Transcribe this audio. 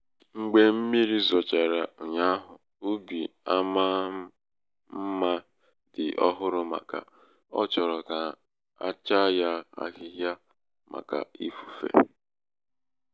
mgbe mmiri zochara ụnyaahụ ubi amaá mma dị um ọhụrụ màkà ọ chọrọ ka achaa ya ahịhịa màkà ifufe.